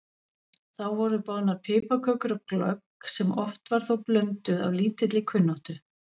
Þá voru boðnar piparkökur og glögg sem oft var þó blönduð af lítilli kunnáttu.